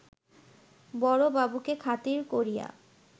বড়বাবুকে খাতির করিয়া